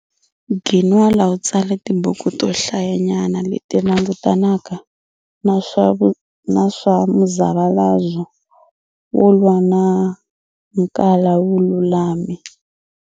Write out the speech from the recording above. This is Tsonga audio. Ginwala u tsale tibuku to hlayanyana leti langutanaka na swa muzavalazo wo lwa na nkala vululami.